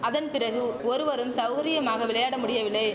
அதன் பிறகு ஒருவரும் சவுரியமாக விளையாட முடியவில்லை